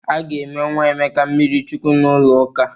A ga-eme nwa Emeka mmirichukwu n'ụlọ ụka.